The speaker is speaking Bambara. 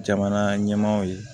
Jamana ɲɛmaaw ye